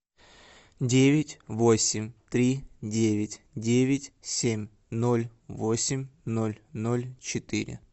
девять восемь три девять девять семь ноль восемь ноль ноль четыре